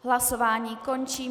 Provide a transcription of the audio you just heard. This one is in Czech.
Hlasování končím.